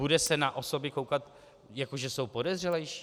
Bude se na osoby koukat, jako že jsou podezřelejší?